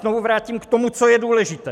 Znovu vrátím k tomu, co je důležité.